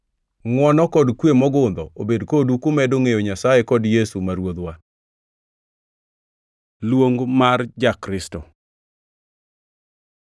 Ngʼwono kod kwe mogundho obed kodu kumedo ngʼeyo Nyasaye kod Yesu ma Ruodhwa. Luong mar ja-Kristo